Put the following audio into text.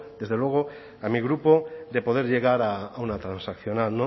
desde luego a mi grupo de poder llegar a una transaccional